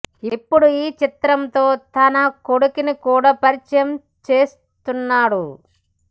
ఇప్పుడు ఈ చిత్రం తో తన కొడుకుని కూడా పరిచయం చేస్తున్నాడు